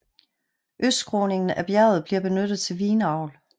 Østskråningen af bjerget bliver benyttet til vinavl